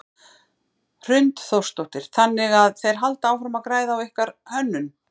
Hrund Þórsdóttir: Þannig að þeir halda áfram að græða á ykkar hönnun?